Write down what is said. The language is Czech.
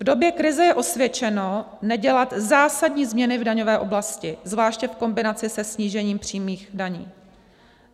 V době krize je osvědčeno nedělat zásadní změny v daňové oblasti, zvláště v kombinaci se snížením přímých daní.